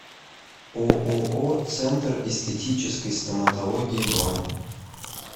ооо центр эстетической стоматологии бронь